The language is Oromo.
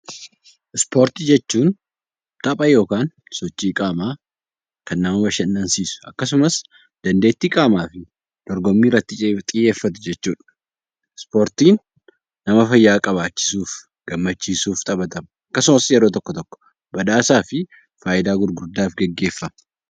Ispoortii jechuun tapha yookaan sochii qaamaa kan nama bashannansiisu akkasumas dandeettii qaamaa dorgommii irratti xiyyeeffatu jechuudha. Ispoortiin fayyaa eeguuf , nama gammichiisuuf taphatama. Ispoortiin badhaasaa fi fayidaawwan hedduuf hojjatama